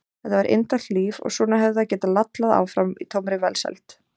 Þetta var indælt líf og svona hefði það getað lallað áfram í tómri velsæld.